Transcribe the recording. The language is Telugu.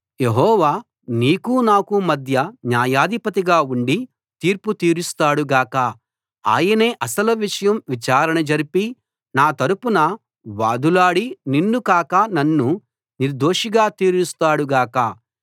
యెహోవా నీకూ నాకూ మధ్య న్యాయాధిపతిగా ఉండి తీర్పు తీరుస్తాడుగాక ఆయనే అసలు విషయం విచారణ జరిపి నా తరపున వాదులాడి నిన్ను కాక నన్ను నిర్దోషిగా తీరుస్తాడు గాక